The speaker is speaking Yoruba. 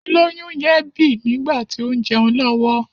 Olóyún yẹn bì nígbàtí ó ń jẹun lọ́wọ́.